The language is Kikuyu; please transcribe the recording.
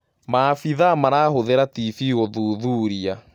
Wikileakes: Maabithaa marahũthĩra tibii gũthuthuria